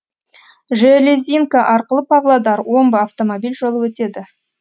железинка арқылы павлодар омбы автомобиль жолы өтеді